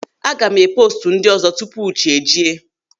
Aga m eme poostu ndị ọzọ tupu chi ejie.